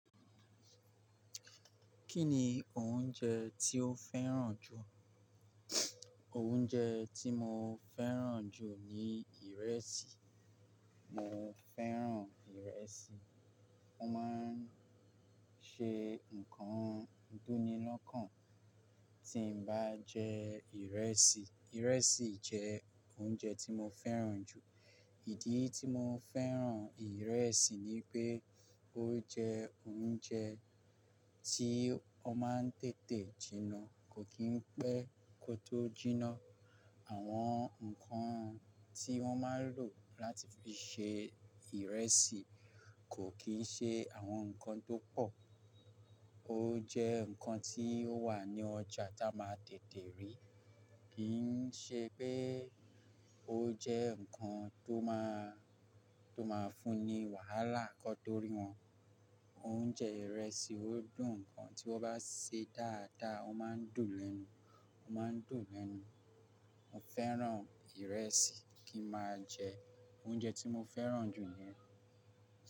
Kí ni oúnjẹ tí ó fẹ́ràn jù? Oúnjẹ tí mo fẹ́ràn jù ni ìrẹsì. Mo fẹ́ràn ìrẹsì. Mo máa ń ṣe nǹkan tó ní lọ́kàn tí n bá jẹ ìrẹsì. Ìrẹsì jẹ́ oúnjẹ tí mo fẹ́ràn jù. Ìdí tí mo fẹ́ràn ìrẹsì ni pé ó jẹ́ oúnjẹ tí ó máa ń tètè jiná, kò kí ń pẹ́ kó tó jiná. Àwọn nǹkan tí wọ́n máa n lò láti fi ṣe ìrẹsì kò kí n ṣe àwọn nǹkan tó pọ̀. Ó jẹ́ nǹkan tí ó wà ní ọjà táa máa tètè rí. Kì n ṣe pé ó jẹ́ nǹkan tó máa, tó máa fún ní wàhálà kán to rí wọn. Oúnjẹ ìrẹsì ó dùn. Nǹkan tí wọ́n bá se dáadáa, ó máa ń dùn lẹ́nu, ó máa ń dùn lẹ́nu. Mo fẹ́ràn ìrẹsì kí n máa jẹ. Oúnjẹ tí mo fẹ́ràn jù ni.